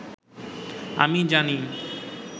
“আমি জানি